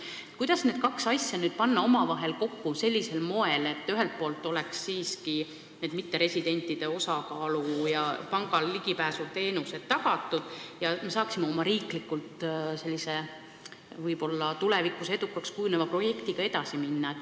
Kuidas need kaks asja nüüd panna omavahel kokku sellisel moel, et mitteresidentidele oleks ligipääs pangateenustele siiski tagatud ning me saaksime riiklikult oma tulevikus võib-olla edukaks kujuneva projektiga edasi minna?